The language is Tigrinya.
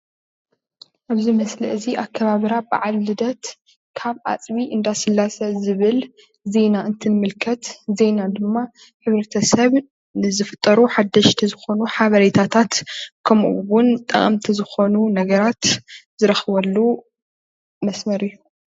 ኣብዚ ምስሊ እዚ ኣከባብራ ባዓል ልደት ካብ ኣፅቢ እንዳስላሴ ዝብል ዜና እንትንምልከት ዜና ድማ ሕብረተሰብ ንዝፍጠሩ ሓደሽቲ ዝኮኑ ሓበሬታታት ከምኡ እውን ጠቀምቲ ዝኮኑ ነገራት ዝረክበሉ መስመር እዩ፡፡